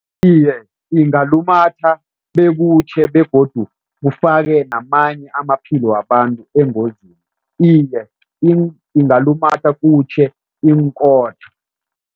Iye, ingalumatha bekutjhe begodu kufake namanye amaphilo wabantu engozini. Iye, ingalumatha kutjhe iinkhotha.